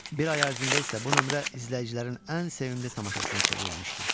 Bir ay ərzində isə bu nömrə izləyicilərin ən sevimli tamaşasına çevrilmişdi.